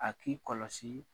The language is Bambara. A k'i kɔlɔsi